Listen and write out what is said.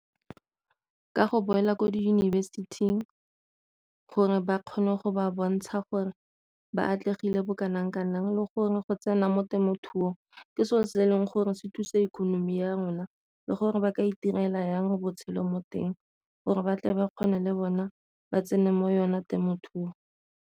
Ka go boela ko diyunibesithing gore ba kgone go ba bontsha gore ba atlegile bo kanang kanang le gore go tsena mo temothuong ke sone se e leng gore se thusa economy ya rona le gore ba ka itirela jang botshelo mo teng, gore batle ba kgone le bona ba tsene mo yone temothuo.